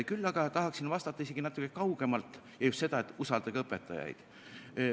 Küll aga tahaksin vastata isegi natuke kaugemalt ja just seda, et usaldage õpetajaid.